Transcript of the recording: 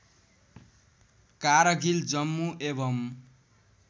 कारगिल जम्मू एवं